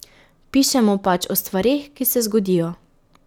Pišemo pač o stvareh, ki se zgodijo.